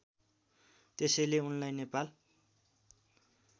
त्यसैले उनलाई नेपाल